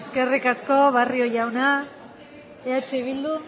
eskerrik asko barrio jauna eh bildutik